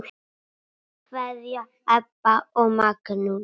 Kær kveðja, Ebba og Magnús.